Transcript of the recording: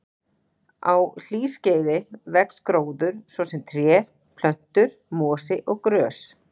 Á hlýskeiði vex gróður, svo sem tré, plöntur, mosi og grös.